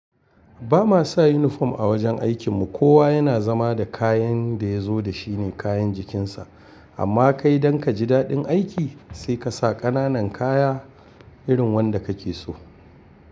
Ba ma sa uniform a wajen aikin mu. Kowa yana zama da kayan da ya zo da shi ne kayan jikin sa. Amma kai dan ka ji daɗin aiki sai ka sa ƙananan kaya irin wanda ka ke so.